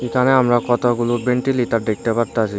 এখানে আমরা কতগুলো ভেন্টিলিটার দেখতে পারতাছি।